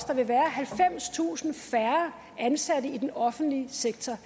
der vil være halvfemstusind færre ansatte i den offentlige sektor